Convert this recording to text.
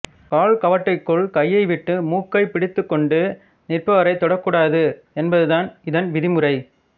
கால் கவட்டிக்குள் கையை விட்டு மூக்கைப் பிடித்துக்கொண்டு நிற்பவரைத் தொடக்கூடாது என்பது இதன் விதிமுறை